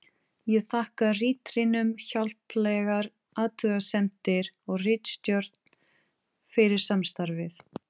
Ég þakka ritrýnum hjálplegar athugasemdir og ritstjórn fyrir samstarfið.